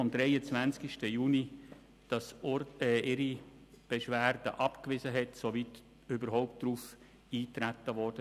Dieses wies sie mit Urteil vom 23.06.2017 ab, soweit überhaupt darauf eingetreten wurde.